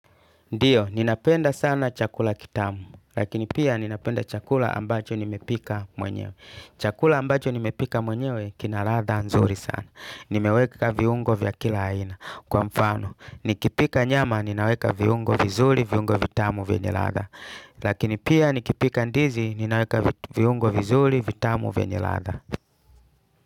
Ndiyo, ninapenda sana chakula kitamu, lakini pia ninapenda chakula ambacho nimepika mwenyewe. Chakula ambacho nimepika mwenyewe, kina ladha nzuri sana. Nimeweka viungo vya kila aina. Kwa mfano, nikipika nyama, ninaweka viungo vizuri, viungo vitamu vyenye ladha. Lakini pia nikipika ndizi, ninaweka viungo vizuli, vitamu vya nyalatha.